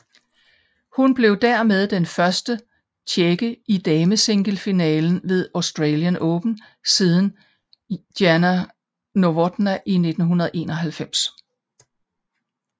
Hun blev dermed den første tjekke i damesinglefinalen ved Australian Open siden Jana Novotná i 1991